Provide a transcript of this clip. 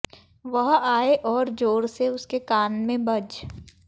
वह आए और जोर से उसके कान में बज